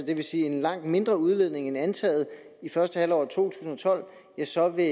det vil sige en langt mindre udledning end antaget i første halvår af to tusind og tolv så vil